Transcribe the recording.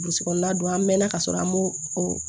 Burusi kɔnɔna don an mɛɛnna ka sɔrɔ an m'o o